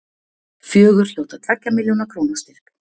Fjögur hljóta tveggja milljóna króna styrk